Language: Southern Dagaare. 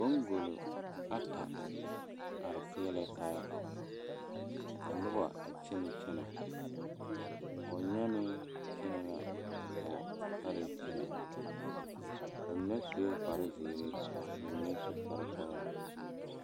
Boŋkolo ata a are peɛle la taa ka noba a kyɛnɛ kyɛnɛ pɔgenyaane kyɛnɛ la ka pɔgesare kyɛnɛ ba mine sue kpare zeere ka ba mine su kpare sɔglɔ.